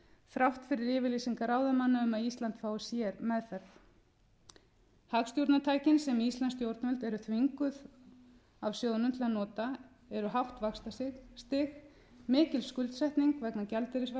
þrátt fyrir yfirlýsingar ráðamanna um að ísland fái sérmeðferð hagstjórnartækin sem íslensk stjórnvöld eru þvinguð af sjóðnum til að nota eru hátt vaxtastig mikil skuldsetning vegna